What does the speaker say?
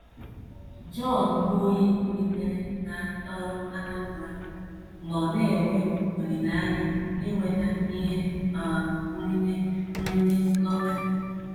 JOHN, bụ́ onye tolitere na um Anambra, nọ na - enwe olileanya inweta ihe um nrite nrite lọtrị.